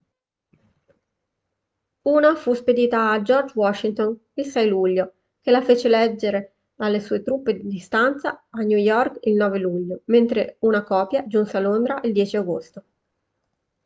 una fu spedita a george washington il 6 luglio che la fece leggere alle sue truppe di stanza a new york il 9 luglio mentre una copia giunse a londra il 10 agosto